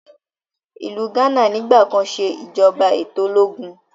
Ilú Ghana nigbakan se ìjọba eto ológun.